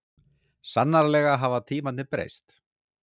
Sannarlega hafa tímarnir breyst.